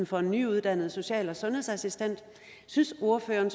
for en nyuddannet social og sundhedsassistent synes ordføreren